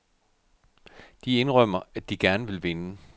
De indrømmer, at de gerne vil vinde.